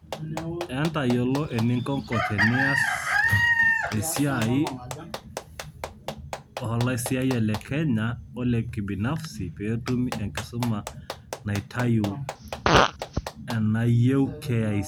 Entayiolo eninkoko tenias esia olaisiyayak le Kenya olekibinafsi peetumi enkisuma natiu anaaenayeuw KICD.